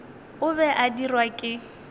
o be a dirwa ke